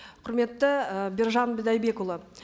құрметті і біржан бидайбекұлы